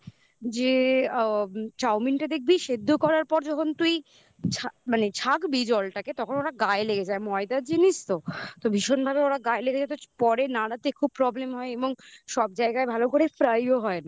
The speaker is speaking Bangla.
যে অ্যা চাউমিনটা দেখবি সেদ্ধ করার পর যখন তুই ছাঁকবি জলটাকে তখন ওরা গায়ে লেগে যায় ময়দার জিনিস তো ভীষণভাবে ওরা গায়ে লেগে যায় পরে নাড়াতে খুব problem হয় এবং সব জায়গায় ভালো করে fry ও হয় না